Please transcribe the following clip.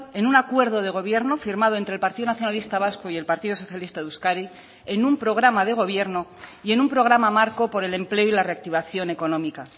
en un acuerdo de gobierno firmado entre el partido nacionalista vasco y el partido socialista de euskadi en un programa de gobierno y en un programa marco por el empleo y la reactivación económica